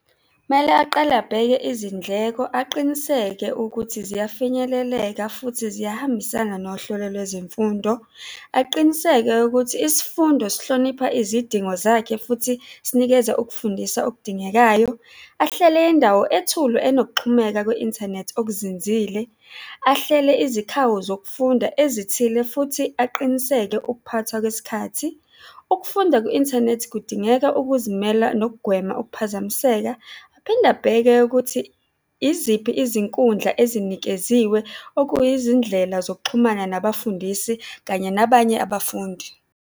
Kumele aqale abheke izindleko, aqiniseke ukuthi ziyafinyeleleka futhi ziyahambisana nohlelo lwezemfundo. Aqiniseke ukuthi isifundo sihlonipha izidingo zakhe futhi sinikeza ukufundisa okudingekayo, ahlele indawo ethule enokuxhumeka kwe-inthanethi okuzinzile, ahlele izikhawu zokufunda ezithile futhi aqiniseke ukuphathwa kwesikhathi. Ukufunda kwi-inthanethi kudingeka ukuzimela nokugwema ukuphazamiseka. Aphinde abheke ukuthi iziphi izinkundla ezinikeziwe, okuyindlela zokuxhumana nabafundisi kanye nabanye abafundi.